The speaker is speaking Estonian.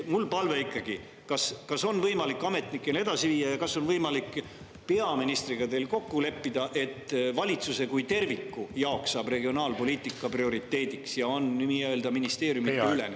Mul on ikkagi palve, kas on võimalik ametnikele edasi ja kas teil on võimalik peaministriga kokku leppida, et valitsuse kui terviku jaoks saaks regionaalpoliitika prioriteediks ja oleks nii-öelda ministeeriumideülene.